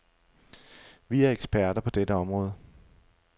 Vi er eksperter på dette område.